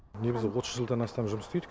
негізі отыз жылдан астам жұмыс істейді